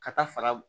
Ka taa faga